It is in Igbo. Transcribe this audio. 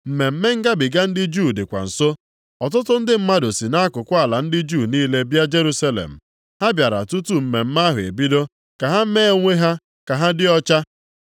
Mmemme Ngabiga ndị Juu dịkwa nso. Ọtụtụ ndị mmadụ si nʼakụkụ ala ndị Juu niile bịa Jerusalem. Ha bịara tutu mmemme ahụ ebido ka ha mee onwe ha ka ha dị ọcha.